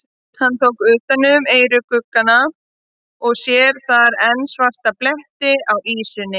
Hann tók undir eyruggana og sér þar enn svarta bletti á ýsunni.